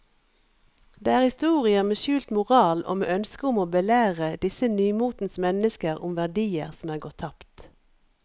Det er historier med skjult moral og med ønske om å belære disse nymotens mennesker om verdier som er gått tapt.